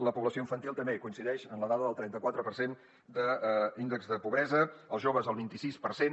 la població infantil també coincideix en la dada del trenta quatre per cent d’índex de pobresa els joves el vint i sis per cent